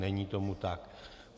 Není tomu tak.